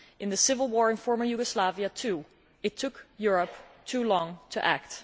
In the civil war in former Yugoslavia too, it took Europe too long to act.